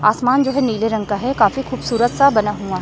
आसमान जो है नीले रंग का है काफी खूबसूरत सा बना हुआ--